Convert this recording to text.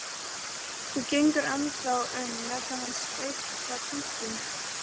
Þú gengur ennþá um með þennan steikta kjúkling.